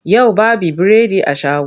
Yau baby biredi a shago.